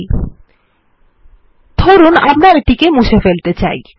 লিখুন আমরা এটি কে মুছে ফেলতে চাই